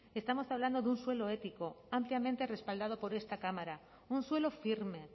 estamos hablando de un suelo ético ampliamente respaldado por esta cámara un suelo firme